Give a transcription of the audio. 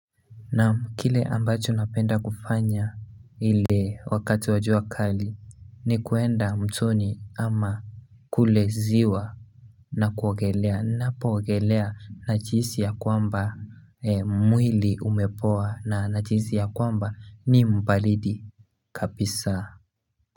Naam, kile ambacho napenda kufanya ile wakati wa jua kali ni kuenda mtoni ama kule ziwa na kuogelea napoogelea nachihisi ya kwamba mwili umepoa na nachihisi ya kwamba ni mbalidi kapisa.